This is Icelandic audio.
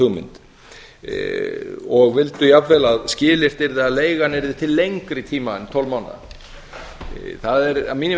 hugmynd og vildu jafnvel að skilyrt yrði að leigan yrði til lengri tíma en tólf mánaða það er að mínu viti þess